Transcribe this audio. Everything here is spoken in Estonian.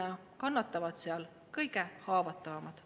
Ja kannatavad kõige haavatavamad.